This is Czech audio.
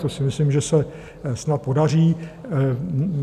To si myslím, že se snad podaří.